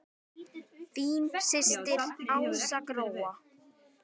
Þín systir Ása Gróa.